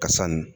Ka san